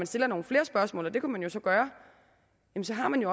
stiller nogle flere spørgsmål og det kunne man jo gøre så har man